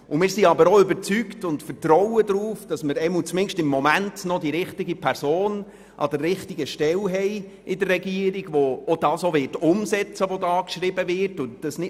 Wir sind aber auch überzeugt und vertrauen darauf, dass wir im Moment die richtige Person an der richtigen Stelle in der Regierung haben, die das auch umsetzen wird, was hier geschrieben steht.